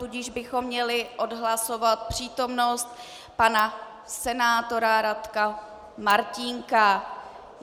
Tudíž bychom měli odhlasovat přítomnost pana senátora Radko Martínka.